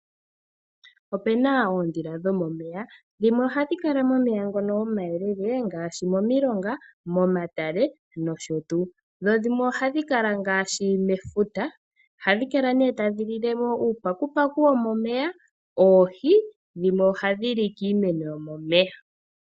Ope na oondhila dhomomeya. Dhimwe ohadhi kala momeya ngono omayelele ngaashi momilonga, momatale nosho tuu. Dho dhimwe ohadhi kala ngaashi mefuta. Ohadhi kala nee tadhi lile mo uupakupaku womomeya, oohi, dhimwe ohadhi li kiimeno yomomeya.